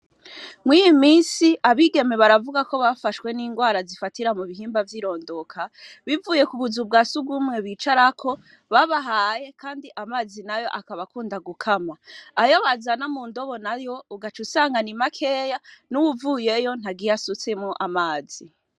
Mwiyi minsi abigeme baravugako bafashwe n'ingwara zifatira mubihimba vyirondoka bivuye kubuzu bwa sugumwe bicarako babahaye kandi amazi nayo akaba akunda gukama, ayo bazana mundobo nayo ugaca usanga ni makeya nuwuvuyeyo ntagiye asutsemwo amazi.